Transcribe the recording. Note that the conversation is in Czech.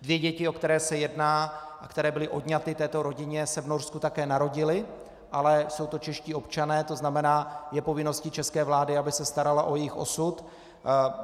Dvě děti, o které se jedná a které byly odňaty této rodině, se v Norsku také narodily, ale jsou to čeští občané, to znamená je povinností české vlády, aby se starala o jejich osud.